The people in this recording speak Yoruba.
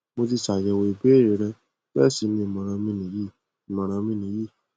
mo ti ṣàyẹwò ìbéèrè rẹ bẹẹ sì ni ìmọràn mi nìyí ìmọràn mi nìyí